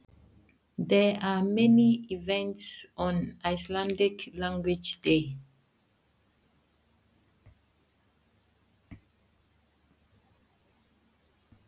Á degi íslenskrar tungu eru margir viðburðir.